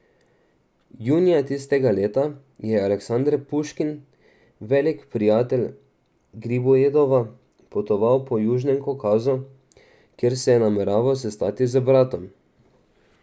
Junija tistega leta je Aleksander Puškin, veliki prijatelj Gribojedova, potoval po južnem Kavkazu, kjer se je nameraval sestati z bratom.